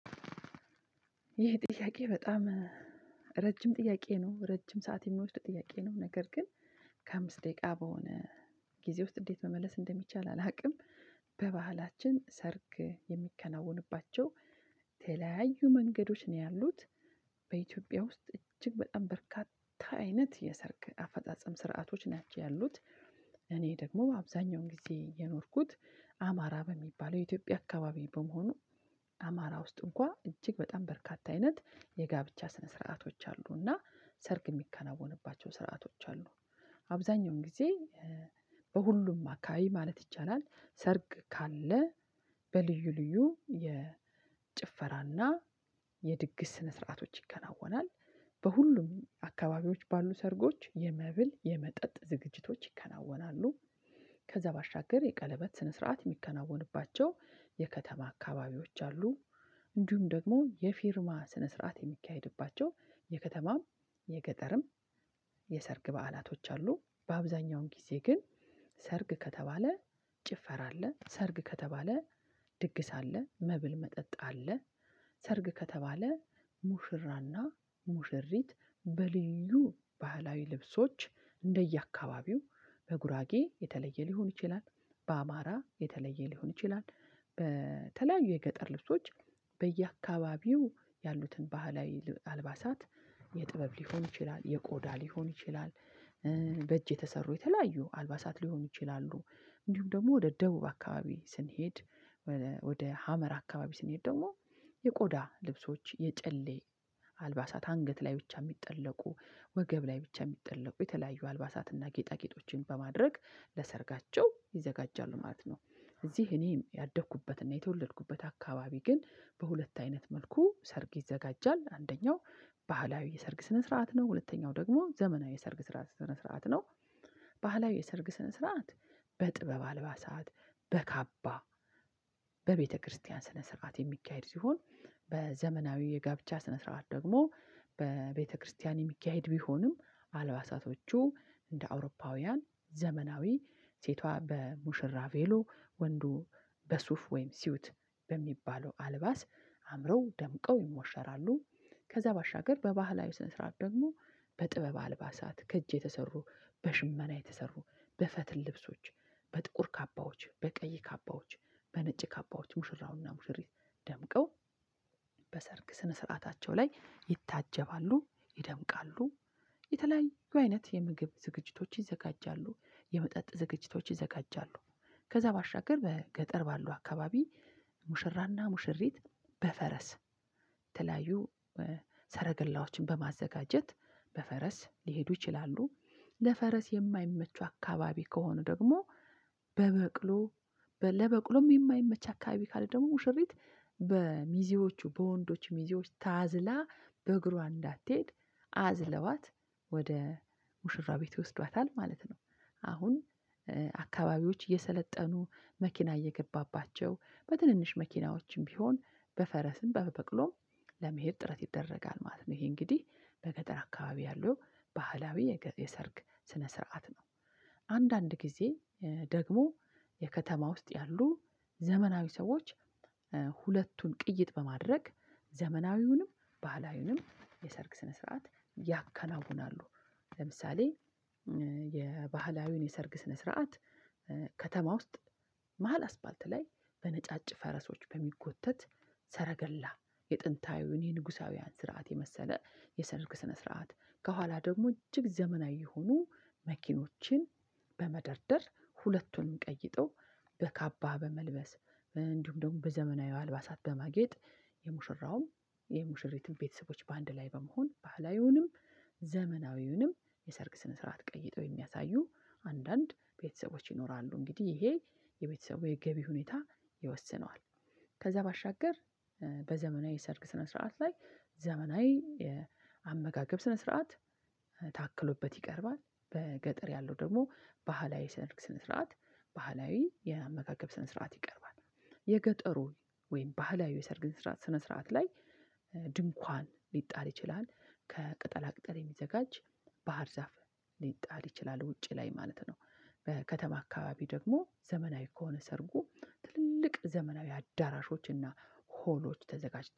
ይህ ጥያቄ በጣም ረጅም ጥያቄ ነው ረጅም ሰዓት የሚወስድ ጥያቄ ነው ነገር ግን ከአምስት ደቂቃ በሆነ ጊዜ ውስጥ እንዴት መመለስ እንደሚቻል አላውቅም። በባህላችን ሰርግ የሚከናወኑባቸው ተለያዩ መንገዶች ነው ያሉት በኢትዮጵያ ውስጥ እጅግ በጣም በርካታ አይነት የሰርግ አፈጻጸም ስርዓቶች ናቸው ያሉት። እኔ ደግሞ በአብዛኛው ጊዜ የኖርኩት አማራ በሚባለው የኢትዮጵያ አካባቢ በመሆኑ አማራ ውስጥ እንኳን እጅግ በጣም በርካታ አይነት የጋብቻ ስነ ስርዓቶች አሉና ሰርግ የሚከናወንባቸው ስርዓቶች አሉ። አብዛኛውን ጊዜ በሁሉም አካባቢ ማለት ይቻላል ሰርግ ካለ በልዩ ልዩ የጭፈራና የድግስ ስነ ስርዓቶች ይከናወናል። በሁሉም አካባቢዎች ባሉ ሰርጎች የመብል የመጠጥ ዝግጅቶች ይከናወናሉ። ከዛ ባሻገር የቀለበት ስነ ስርዓት የሚከናወንባቸው የከተማ አካባቢዎች አሉ። እንዲሁም ደግሞ የፊርማ ስነ ስርዓት የሚካሄድባቸው የከተማም የገጠርም የሰርግ በዓላቶች አሉ። በአብዛኛውን ጊዜ ግን ሰርግ ከተባለ ጭፈራ አለ ሰርግ ከተባለ ድግስ አለ መብል መጠጥ አለ። ሰርግ ከተባለ ሙሽራና ሙሽሪት በልዩ ባህላዊ ልብሶች እንደየአካባቢው በጉራጌ የተለየ ሊሆን ይችላል በአማራ የተለየ ሊሆን ይችላል በተለያዩ የገጠር ልብሶች በየአካባቢው ያሉትን ባህላዊ አልባሳት የጥበብ ሊሆን ይችላል የቆዳ ሊሆን ይችላል። በእጅ የተሰሩ የተለያዩ አልባሳት ሊሆኑ ይችላሉ እንዲሁም ደግሞ ወደ ደቡብ አካባቢ ስንሄድ ወደ ሀመር አካባቢ ስንሄድ ደግሞ የቆዳ ልብሶች የጨሌ አልባሳት አንገት ላይ ብቻ የሚጠለቁ ወገብ ላይ ብቻ የሚጠለቁ የተለያዩ አልባሳትን እና ጌጣጌጦችን በማድረግ ለሰርጋቸው ይዘጋጃሉ ማለት ነው። እዚህ እኔ ያደኩበትና የተወለድኩበት አካባቢ ግን በሁለት አይነት መልኩ ሰርግ ይዘጋጃል አንደኛው ባህላዊ የሰርግ ስነ ስርዓት ነው። ሁለተኛው ደሞ ዘመናዊ የሰርግ ስነ ስርዓት ነው። ባህላዊ የሰርግ ስነ ስርዓት በጥበብ አልባሳት በካባ በቤተክርስቲያን ስነ ስርዓት የሚካሄድ ሲሆን። በዘመናዊ የጋብቻ ስነ ስርዓት ደግሞ በቤተክርስቲያን የሚካሄድ ቢሆንም አልባሳቶቹ እንደ አውሮፓውያን ዘመናዊ ሴቷ በሙሽራ ቬሎ ወንዱ በሱፍ ወይም ሲውት በሚባለው አልባስ አምረው ደምቀው ይሞሸራሉ። ከዛ ባሻገር በባህላዊ ስነ ስርዓት ደግሞ በጥበብ አልባሳት ከእጅ የተሰሩ በሽመና የተሰሩ በፈትል ልብሶች በጥቁር ካባዎች በቀይ ካባዎች በነጭ ካባዎች ሙሽራውና ሙሽሪ ደምቀው በሰርግ ስነ ስርዓታቸው ላይ ይታጀባሉ ይደምቃሉ። የተለያዩ አይነት የምግብ ዝግጅቶች ይዘጋጃሉ የመጠጥ ዝግጅቶች ይዘጋጃሉ። ከዛ ባሻገር በገጠር ባለው አካባቢ ሙሽራና ሙሽሪት በፈረስ ተለያዩ ሰረገላዎችን በማዘጋጀት በፈረስ ሊሄዱ ይችላሉ። ለፈረስ የማይመቹ አካባቢ ከሆኑ ደግሞ በበቅሎ ለበቅሎም የማይመቹ አካባቢ ካለ ደግሞ ሙሽሪት በሚዜዎቹ በወንዶቹ ሚዜዎች ታዝላ በእግሯ እንዳትሄድ አዝለዋት ወደ ሙሽራ ቤት ይወስዷታል ማለት ነው። አሁን አከባቢዎች እየሰለጠኑ መኪና እየገባባቸው በትንንሽ መኪናዎችም ቢሆን በፈረስም በበቅሎም ለመሄድ ጥረት ይደረጋል ማለት ነው። ይሄ እንግዲህ በገጠር አካባቢ ያለው ባህላዊ የሰርግ ስነ ስርዓት ነው። አንዳንድ ጊዜ ደግሞ የከተማ ውስጥ ያሉ ዘመናዊ ሰዎች ሁለቱን ቅይጥ በማድረግ ዘመናዊውንም ባህላዊውንም የሰርግ ስነ ስርዓት ያከናውናሉ። ለምሳሌ የባህላዊውን የሰርግ ስነ ስርዓት ከተማ ውስጥ መሃል አስፋልት ላይ በነጫጭ ፈረሶች በሚጎተት ሰረገላ የጥንታዊው የንጉሳዊያን ስርዓት የመሰለ የሰርግ ስነ ስርዓት ከኋላ ደግሞ እጅግ ዘመናዊ የሆኑ መኪኖችን በመደርደር ሁለቱንም ቀይጠው በካባ በመልበስ እንዲሁም ደግሞ በዘመናዊ አልባሳት በማጌጥ የሙሽራውም የሙሽሪትም ቤተሰቦች በአንድ ላይ በመሆን ባህላዊውንም ዘመናዊውንም የሰርግ ስነ ስርዓት ቀይጠው የሚያሳዩ አንዳንድ ቤተሰቦች ይኖራሉ። እንግዲህ ይሄ የቤተሰቡ የገቢ ሁኔታ ይወስነዋል። ከዛ ባሻገር በዘመናዊ ሰርግ ስነ ስርዓት ላይ ዘመናዊ አመጋገብ ስነ ስርዓት ታክሎበት ይቀርባል። በገጠር ያለው ደግሞ ባህላዊ የሰርግ ስነ ስርዓት ባህላዊ የአመጋገብ ስነ ስርዓት ይቀርባል። የገጠሩ ወይም ባህላዊ የሰርግ ስርዓት ስነ ስርዓት ላይ ድንኳን ሊጣል ይችላል ከቅጠላ ቅጠል የሚዘጋጅ ባህር ዛፍ ሊጣል ይችላል ውጪ ላይ ማለት ነው። በከተማ አካባቢ ደግሞ ዘመናዊ ከሆነ ሰርጉ ትልልቅ ዘመናዊ አዳራሾች እና ሆሎች ተዘጋጅተዋል